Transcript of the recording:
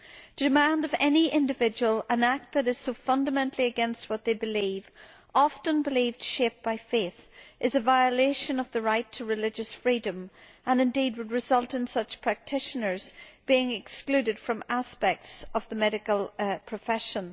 To demand of any individual an act that is so fundamentally against what they believe often belief shaped by faith is a violation of the right to religious freedom and indeed would result in such practitioners being excluded from aspects of the medical profession.